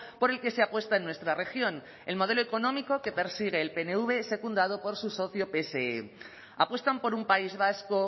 por el que se apuesta en nuestra región el modelo económico que persigue el pnv secundado por su socio pse apuestan por un país vasco